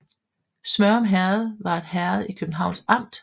Smørum Herred var et herred i Københavns Amt